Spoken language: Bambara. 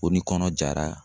Ko ni kɔnɔ jara